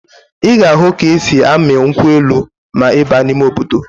Ị ga-ahụ ka e si amị nkwụ elu ma ị baa n'ime obodo